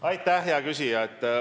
Aitäh, hea küsija!